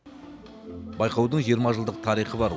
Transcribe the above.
байқаудың жиырма жылдық тарихы бар